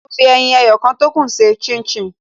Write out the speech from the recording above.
Mo fi ẹyin ẹyọ kan tókù ṣe chin chin